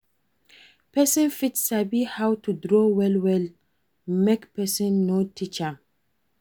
Persin fit sabi how to draw well well make persin no teach am